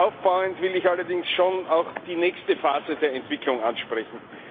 Darauf aufbauend will ich allerdings schon auch die nächste Phase der Entwicklung ansprechen.